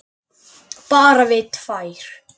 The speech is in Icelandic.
Bara við tvær.